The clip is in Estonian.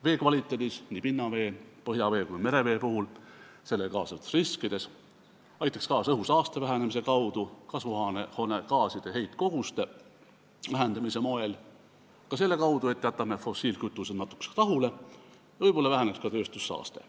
Vee kvaliteet paraneks nii pinnavee, põhjavee kui ka merevee puhul, kaasnevad riskid väheneksid, see aitaks kaasa õhusaaste vähenemise kaudu, kasvuhoonegaaside heitkoguste vähendamise teel, ka selle kaudu, et me jätame fossiilkütused natukeseks rahule, võib-olla väheneks ka tööstussaaste.